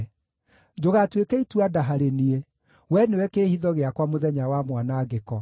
Ndũgatuĩke itua-nda harĩ niĩ; wee nĩwe kĩĩhitho gĩakwa mũthenya wa mwanangĩko.